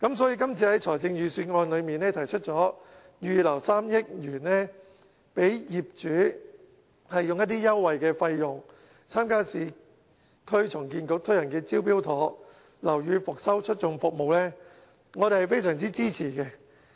所以在今次的預算案中，提出預留3億元讓業主以優惠費用，參加市區重建局推行的"招標妥"樓宇復修促進服務，我們是非常支持。